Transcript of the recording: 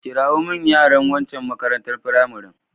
Kirawo min yaran wancan makarantar firamaren.